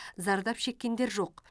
зардап шеккендер жоқ